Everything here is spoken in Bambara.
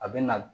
A bɛ na